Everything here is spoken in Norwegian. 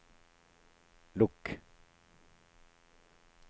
lukk